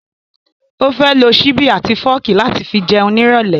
Ó fẹ́ lo ṣíbí àti fọ́ọ̀kì láti fi jẹun ní ìrọ̀lẹ́